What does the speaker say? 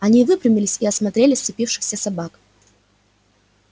они выпрямились и осмотрели сцепившихся собак